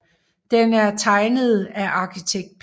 Den er tegnet af arkitekt P